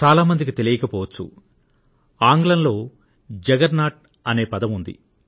చాలా మందికి తెలియకపోవచ్చు కానీ ఆంగ్లంలో జగర్నాట్ అనే పదం ఉంది